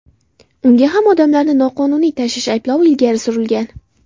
Unga ham odamlarni noqonuniy tashish ayblovi ilgari surilgan.